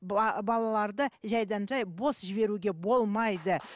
балаларды жайдан жай бос жіберуге болмайды